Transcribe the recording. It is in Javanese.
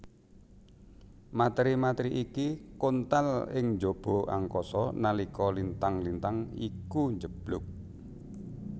Materi materi iki kontal ing njaba angkasa nalika lintang lintang iku njeblug